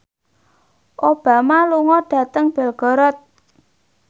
Obama lunga dhateng Belgorod